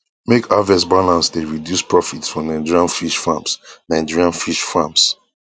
make harvest balance dey reduce profit for nigerian fish farms nigerian fish farms